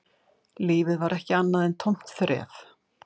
Lífið var ekki annað en tómt þref